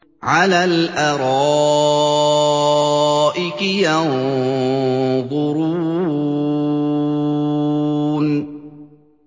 عَلَى الْأَرَائِكِ يَنظُرُونَ